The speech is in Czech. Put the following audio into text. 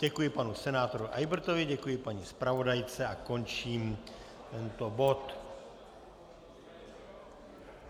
Děkuji panu senátoru Eybertovi, děkuji paní zpravodajce a končím tento bod.